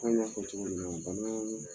An b'a fɔ cogo mina bannan